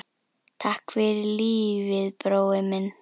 Takk fyrir lífið, brói minn.